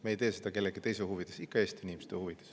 Me ei tee seda kellegi teise huvides, ikka Eesti inimeste huvides.